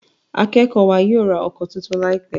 Akékòó wa yóò rá òko títún láìpé.